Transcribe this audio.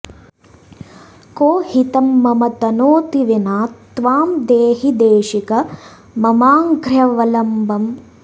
को हितं मम तनोति विना त्वां देहि देशिक ममाङ्घ्र्यवलम्बम्